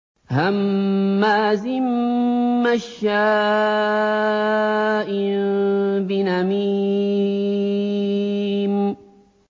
هَمَّازٍ مَّشَّاءٍ بِنَمِيمٍ